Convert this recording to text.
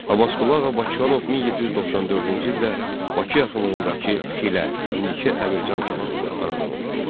Abbasqulu Ağa Bakıxanov 1794-cü ildə Bakı yaxınlığındakı Xilə, indiki Əmircan kəndində anadan olmuşdur.